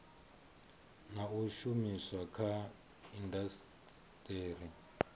na u shumiswa kha indasiteri